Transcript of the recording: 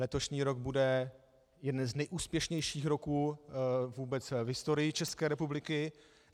Letošní rok bude jeden z nejúspěšnějších roků vůbec v historii České republiky.